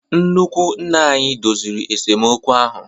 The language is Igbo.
Nnukwu nna anyị doziri esemokwu ahụ.